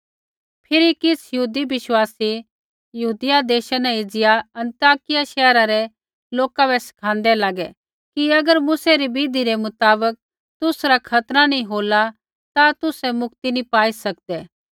फिरी किछ़ यहूदी बिश्वासी यहूदिया देशा न एज़िया अन्ताकिया शैहरा रै लोका बै सिखाँदै लागै कि अगर मूसै री विधि रै मुताबक तुसरा खतना नी होला ता तुसै मुक्ति नी पाई सकदै